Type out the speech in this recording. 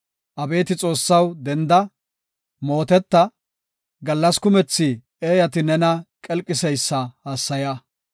Abeeti Xoossaw, denda; mooteta; gallas kumethi eeyati nena qelqiseysa hassaya.